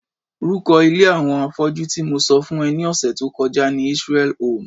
rúko ilé àwọn afọ́jú tí mo sọ fún ẹ ní ọ̀sẹ̀ tó kọjá ni Israel home.